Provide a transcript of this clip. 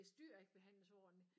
Hvis dyr ikke behandles ordentlig